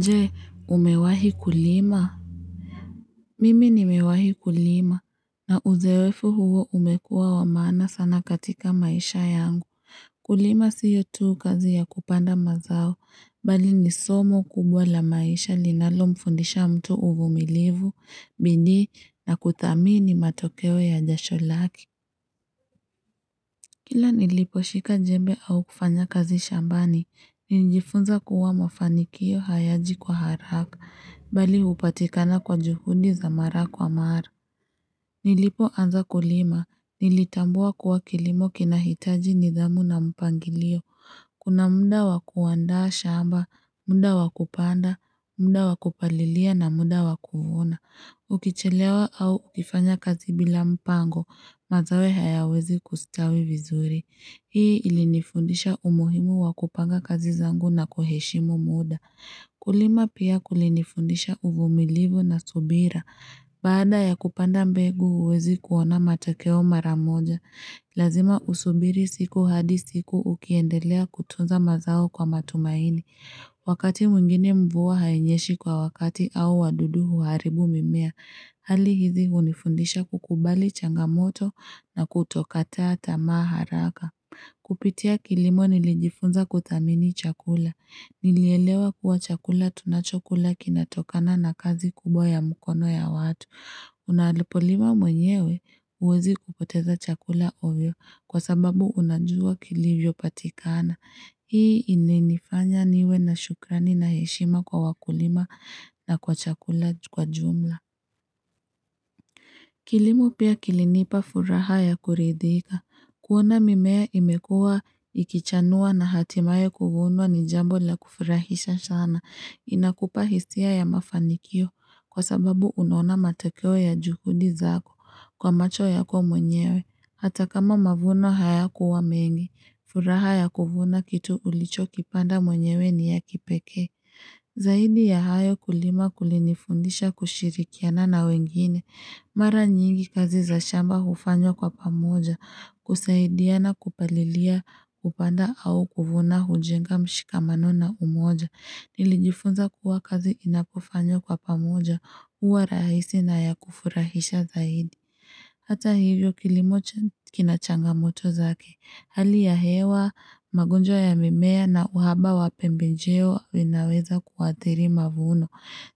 Je umewahi kulima mimi nimewahi kulima na uzoefu huo umekua wamaana sana katika maisha yangu kulima sio tu kazi ya kupanda mazao bali ni somo kubwa la maisha linalo mfundisha mtu uvumilivu bidii na kuthamini matokeo ya jasholaki Kila nilipo shika jembe au kufanya kazi shambani, ninjifunza kuwa mafanikio hayaji kwa haraka, bali hupatikana kwa juhudi za mara kwa mara. Nilipo anza kulima, nilitambua kuwa kilimo kinahitaji nidhamu na mpangilio. Kuna muda wakuaanda shamba, muda wakupanda, muda wakupalilia na muda wakuvuna. Ukichelewa au ukifanya kazi bila mpango, mazao hayawezi kustawi vizuri. Hii ilinifundisha umuhimu wakupanga kazi zangu na kuheshimu muda. Kulima pia kulinifundisha uvumilivu na subira. Baada ya kupanda mbegu huwezi kuona matakeo maramoja. Lazima usubiri siku hadi siku ukiendelea kutunza mazao kwa matumaini. Wakati mwingine mvua hainyeshi kwa wakati au wadudu huaribu mimea. Hali hizi hunifundisha kukubali changamoto na kutokataa tamaa haraka. Kupitia kilimo nilijifunza kuthamini chakula. Nilielewa kuwa chakula tunachokula kinatokana na kazi kubwa ya mkono ya watu. Unalipolima mwenyewe huwezi kupoteza chakula ovyo kwa sababu unajua kilivyo patikana. Hii inifanya niwe na shukrani na heshima kwa wakulima na kwa chakula kwa jumla. Kilimu pia kilinipa furaha ya kuridhika. Kuona mimea imekua ikichanua na hatimaye kuvunwa ni jambo la kufurahisha sana. Inakupa hisia ya mafanikio kwa sababu unaona matekeo ya juhudi zako kwa macho ya kwa mwenyewe. Hata kama mavuno haya kuwa mengi, furaha ya kuvuna kitu ulicho kipanda mwenyewe ni ya kipeke. Zaidi ya hayo kulima kulinifundisha kushirikiana na wengine, mara nyingi kazi za shamba hufanywa kwa pamoja, kusaidia na kupalilia kupanda au kuvuna hujenga mshikamanona umoja, nilijifunza kuwa kazi inapufanyo kwa pamoja, huwa rahisi na yakufurahisha zaidi. Hata hivyo kilimo ch kina changamoto zake, hali ya hewa, magonjwa ya mimea na uhaba wa pembenjeo zinaweza kuwatheri mavuno.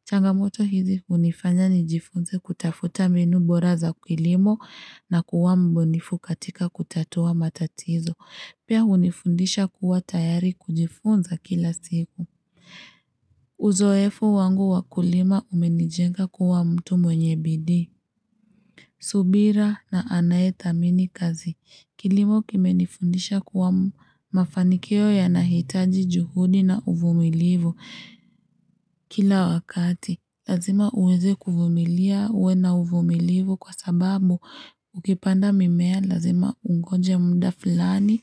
Changamoto hizi unifanya nijifunze kutafuta mbinu bora za kilimo na kuwa mbunifu katika kutatua matatizo. Pia hunifundisha kuwa tayari kujifunza kila siku. Uzoefu wangu wakulima umenijenga kuwa mtu mwenye bidii. Subira na anayetha mini kazi. Kilimo kimenifundisha kuwa mafanikio ya nahitaji juhudi na uvumilivu kila wakati. Lazima uweze kuvumilia uwe na uvumilivu kwa sababu ukipanda mimea lazima ungoje mda fulani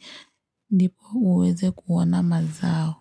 ndipo uweze kuona mazao.